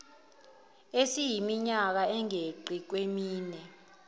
esiyiminyaka engeqi kwemine